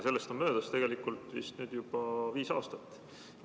Sellest on möödas tegelikult vist nüüd juba viis aastat.